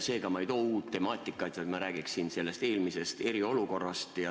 Seega, ma ei too uut temaatikat, vaid ma räägin eelmisest eriolukorrast.